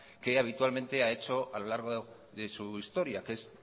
que habitualmente ha hecho a lo largo de su historia que es